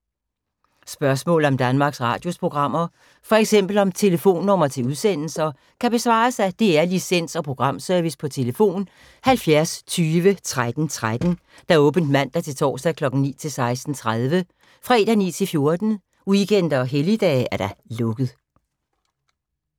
Spørgsmål om Danmarks Radios programmer, f.eks. om telefonnumre til udsendelser, kan besvares af DR Licens- og Programservice: tlf. 70 20 13 13, åbent mandag-torsdag 9.00-16.30, fredag 9.00-14.00, weekender og helligdage: lukket.